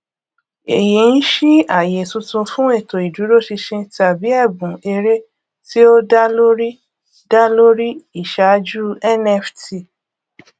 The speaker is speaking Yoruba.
èyí ń ṣí àyè tuntun fún ètò ìdúróṣinṣin tàbí ẹbùn eré tí ó dá lórí dá lórí ìṣáájú nft